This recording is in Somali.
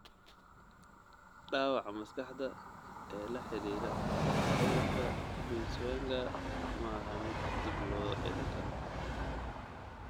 Dhaawaca maskaxda ee la xidhiidha cudurka Binswanger maaha mid dib loo celin karo.